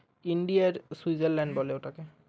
india এর switzerland বলে ওটাকে